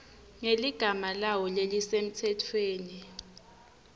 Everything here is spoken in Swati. ngeligama lawo lelisemtsetfweni